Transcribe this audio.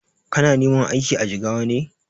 Kana neman aiki a Jigawa ne?